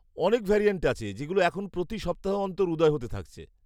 অনেক ভ্যারিয়ান্ট আছে যেগুলো এখন প্রতি সপ্তাহ অন্তর উদয় হতে থাকছে।